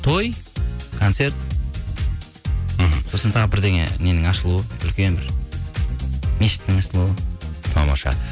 той концерт мхм сосын тағы бірдеңе ненің ашылуы үлкен бір мешіттің ашылуы тамаша